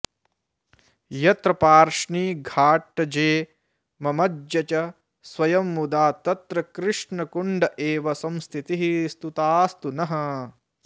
यत्र पार्ष्णिघाटजे ममज्ज च स्वयं मुदा तत्र कृष्णकुण्ड एव संस्थितिः स्तुतास्तु नः